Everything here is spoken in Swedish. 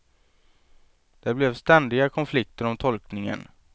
Det blev ständiga konflikter om tolkningen.